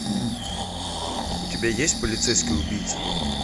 у тебя есть полицейский убийца